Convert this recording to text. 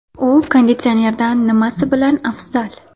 U konditsionerdan nimasi bilan afzal?